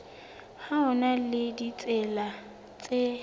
ho na le ditsela tse